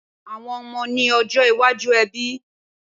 Awòn òmò ni òjõ iwàjú èbí